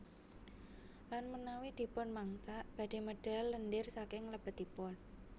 Lan menawi dipun mangsak badhe medal lendir saking lebetipun